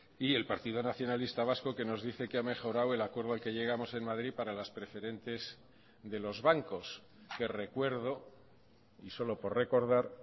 y el partido nacionalista vasco que nos dice que ha mejorado el acuerdo al que llegamos en madrid para las preferentes de los bancos que recuerdo y solo por recordar